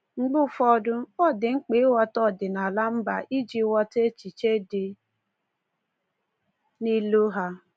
Mgbe ụfọdụ, ọ dị mkpa ịghọta ọdịnaala mba iji ghọta echiche dị n’ilu ha.